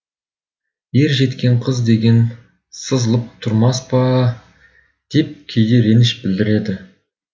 ер жеткен қыз деген сызылып тұрмас па деп кейде реніш білдіреді